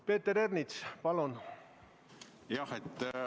Peeter Ernits, palun!